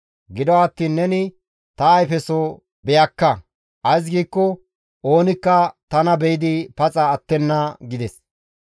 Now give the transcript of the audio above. Gido attiin neni ta ayfeso beyakka; ays giikko oonikka tana be7idi paxa attenna» gides.